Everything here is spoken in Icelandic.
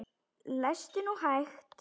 Lestu nú hægt!